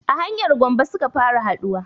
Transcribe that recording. A hanyar gombe suka fara haɗuwa